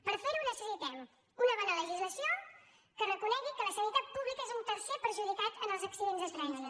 per fer ho necessitem una bona legislació que reconegui que la sanitat pública és un tercer perjudicat en els accidents de trànsit